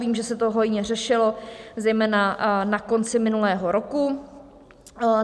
Vím, že se to hojně řešilo zejména na konci minulého roku.